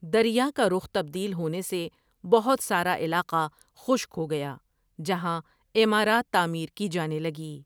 دریا کا رخ تبدیل ہونے سے بہت سارا علاقہ خشک ہو گیا جہاں عمارات تعمیر کی جانے لگی ۔